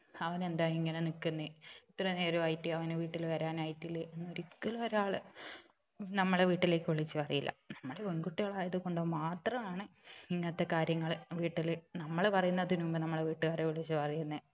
അവൻ എന്താ ഇങ്ങനെ നിക്കുന്നെ ഇത്ര നേരായിട്ടും അവന് വീട്ടിൽ വരാൻ ആയിട്ടില്ലേ എന്ന് ഒരിക്കലും ഒരാള് നമ്മളെ വീട്ടിലേക്ക് വിളിച്ച് പറയില്ല നമ്മള് പെണ്കുട്ടികളായത് കൊണ്ട് മാത്രം ആണ് ഇങ്ങനത്തെ കാര്യങ്ങള് വീട്ടില് നമ്മള് പറയുന്നതിന് മുമ്പ് നമ്മളെ വീട്ടുകാരെ വിളിച്ച് പറയുന്നേ